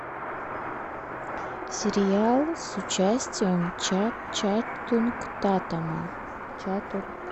сериал с участием ченнинг татума